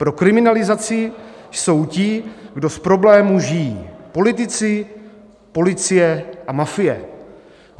Pro kriminalizaci jsou ti, kdo z problémů žijí - politici, policie a mafie.